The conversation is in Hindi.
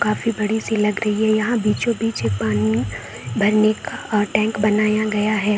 काफी बड़ी-सी लग रही है यहाँ बीचो-बीच एक पानी में भरने का टैंक बनया गया है।